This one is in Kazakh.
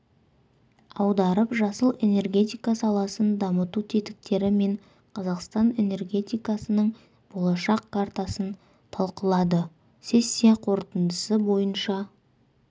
аударып жасыл энергетика саласын дамыту тетіктері мен қазақстан энергетикасының болашақ картасын талқылады сессия қорытындысы бойынша